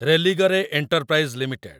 Religare enterprise limited